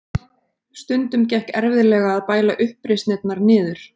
Stundum gekk erfiðlega að bæla uppreisnirnar niður.